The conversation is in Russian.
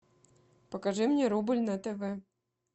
покажи мне рубль на тв